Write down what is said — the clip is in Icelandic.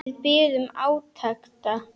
Við biðum átekta.